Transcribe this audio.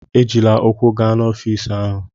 Ejila ụkwụ gaa n'ọfịisi ahụ!